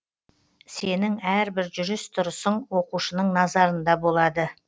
сенің әрбір жүріс тұрысың оқушының назарында болады